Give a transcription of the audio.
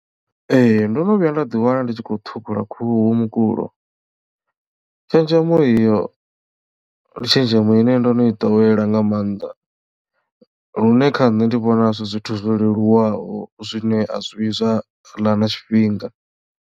Ee ndono vhuya nda ḓi wana ndi tshi khou ṱhukhula khuhu mukulo tshenzhemo iyo ndi tshenzhemo ine ndo no i ḓowela nga maanḓa lune kha nṋe ndi vhona zwi zwithu zwo leluwaho zwiṋe a zwi vhuyi zwa ḽa na tshifhinga.